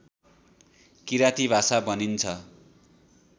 किराँती भाषा भनिन्छ